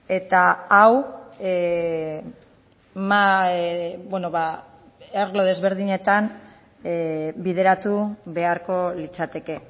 eta hau arlo desberdinetan bideratu beharko litzateke